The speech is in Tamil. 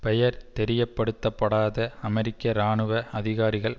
பெயர் தெரியப்படுத்தப்படாத அமெரிக்க இராணுவ அதிகாரிகள்